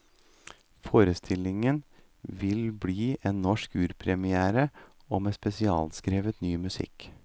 Forestillingen vil bli en norsk urpremiere og med spesialskrevet ny musikk.